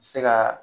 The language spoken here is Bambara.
Se ka